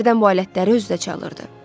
Hərdən bu alətləri özü də çalırdı.